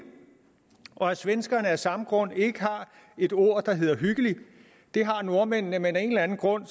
og at svenskerne af samme grund ikke har et ord der hedder hyggeligt det har nordmændene men af en eller anden grund